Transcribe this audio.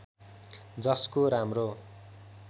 जसको राम्रो